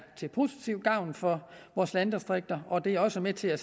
positivt gavn for vores landdistrikter og det er også med til at